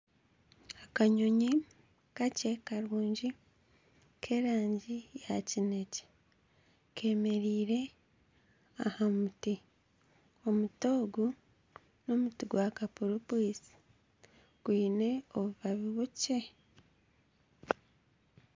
Akanyonyi kakye karungi k'erangi ya kinyaatsi kemereire aha muti omuti ogu n'omuti gwa kapuripwisi gwine obubabi bukye